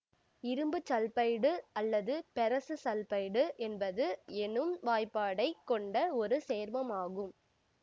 இரும்பு சல்பைடு அல்லது ferrous sulphide என்பது எனும் வாய்பாடைக் கொண்ட ஒரு சேர்மம் ஆகும்